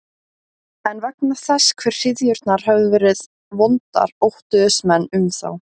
En vegna þess hve hryðjurnar höfðu verið vondar óttuðust menn um þá.